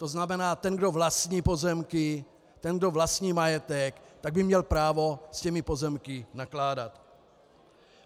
To znamená, ten, kdo vlastní pozemky, ten, kdo vlastní majetek, tak by měl právo s těmi pozemky nakládat.